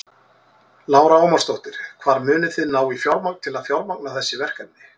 Lára Ómarsdóttir: Hvar munið þið ná í fjármagn til þess að fjármagna þessi verkefni?